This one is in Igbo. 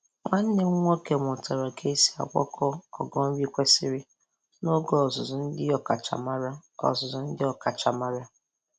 Nwanne m nwoke mụtara ka esi agbakọ ogo nri kwesiri n'oge ọzụzụ ndị ọkachamara. ọzụzụ ndị ọkachamara.